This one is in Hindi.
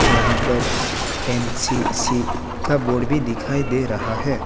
यहां पर एन_सी_सी का बोर्ड भी दिखाई दे रहा है।